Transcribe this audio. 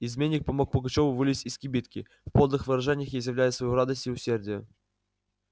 изменник помог пугачёву вылезть из кибитки в подлых выражениях изъявляя свою радость и усердие